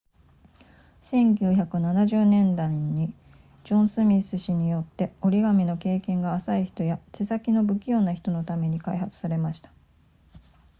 1970年代にジョンスミス氏によって折り紙の経験が浅い人や手先の不器用な人のために開発されました